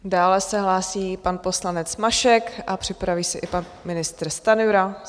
Dále se hlásí pan poslanec Mašek a připraví se i pan ministr Stanjura.